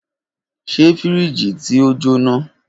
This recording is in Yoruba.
Ṣe firiji ti o jona?